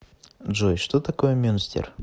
джой что такое мюнстер